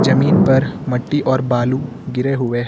जमीन पर मट्टी और बालू गिरे हुए हैं।